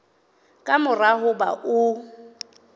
ka mora ho ba o